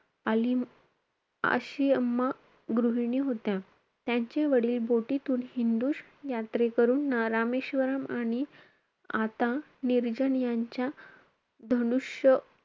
अलीम अशीअम्मा गृहिणी होत्या. त्यांचे बोटीतून हिंदू यात्रेकरूंना रामेश्वरम आणि आता निर्जन यांच्या धनुष्य,